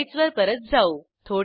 स्लाईडसवर परत जाऊ